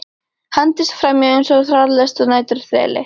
Hendist framhjá eins og hraðlest að næturþeli.